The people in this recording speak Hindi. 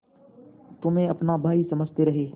तुम्हें अपना भाई समझते रहे